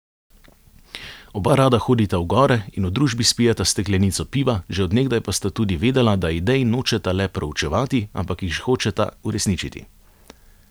Oba rada hodita v gore in v družbi spijeta steklenico piva, že od nekdaj pa sta tudi vedela, da idej nočeta le proučevati, ampak jih hočeta uresničiti.